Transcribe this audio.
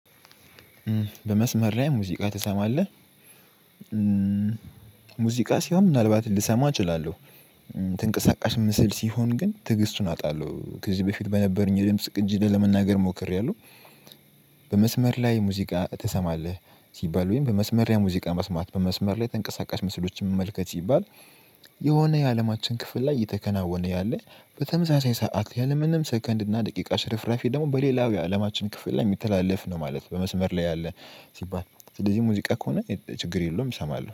በመስመር ላይ ሙዚቃ ትሰማለህ? ሙዚቃ ሲሆን ምናልባት ልሰማ እችላለው። ተንቀሳቃሽ ምስል ሲሆን ግን ትግስቱን አጣለው ከዚህ በፊት በነበረኝ የድምጽ ቅጂ ላይ ለመናገር ሞክርያለው። በመስመር ላይ ሙዚቃ ትሰማለህ ሲባል ወይም በመስመር ላይ መስማት በመስመር ላይ ተንቀሳቃሽ ምስሎች መመልከት ሲባል የሆነ የአለማችን ክፍል ላይ እየተከናወነ ያለ በተመሳሳይ ሰዓት ያለምንም ሰከንድ እና ደቂቃ ሽርፍራፊ ደግሞ በሌላው የአለማችን ክፍል ላይ የሚተላለፍ ነው ማለት ነው። በመስመር ላይ ያለ ሲባል ስለዚህ ሙዚቃ ከሆነ ችግር የለውም እሰማለሁ